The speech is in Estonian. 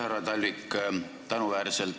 Härra Talvik!